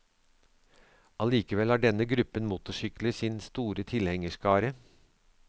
Allikevel har denne gruppen motorsykler sin store tilhengerskare.